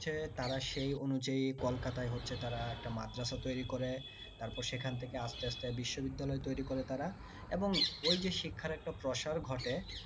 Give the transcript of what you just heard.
সে তারা সেই অনুযায়ী কলকাতায় হচ্ছে তারা একটা মাদ্রাসা তৈরি করে তারপরে সেখান থেকে আস্তে আস্তে তারা বিশ্ববিদ্যালয় তৈরি করে তারা এবং ঐযে শিক্ষার একটা একটা প্রসার ঘটে